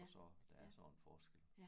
Og så der er sådan forskel